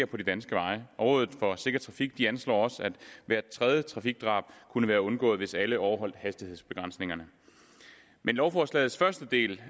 på de danske veje rådet for sikker trafik anslår også at hvert tredje trafikdrab kunne være undgået hvis alle overholdt hastighedsbegrænsningerne med lovforslagets første del